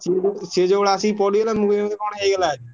ସିଏ ଯୋଉଭଳିଆ ଆସିକି ପଡ଼ିଗଲେ ମୁଁ କହିଲି ବୋଧେ କଣ ହେଇଗଲା ବୋଲି।